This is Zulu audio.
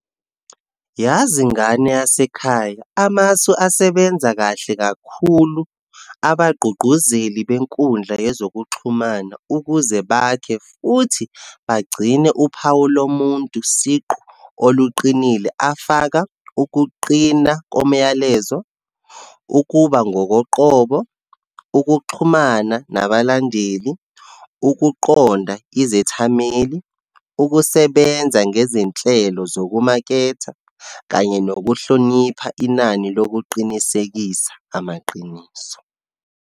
Yazi, ngane yasekhaya amasu asebenza kahle kakhulu abagqugquzeli benkundla yezokuxhumana ukuze bakhe, futhi bagcine uphawu lomuntu siqu oluqinile afaka, ukuqina komyalezo, ukuba ngokoqobo, ukuxhumana nabalandeli, ukuqonda izethameli, ukusebenza ngezinhlelo zokumaketha, kanye nokuhlonipha inani lokuqinisekisa amaqiniso.